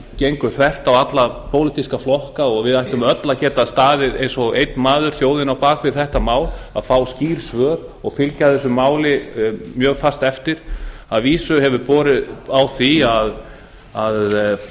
gengur þvert á alla pólitíska flokka og við ættum öll að geta staðið eins og einn maður þjóðin á bak við þetta mál að fá skýr svör og fylgja þessu máli mjög fast eftir að vísu hefur borið á því að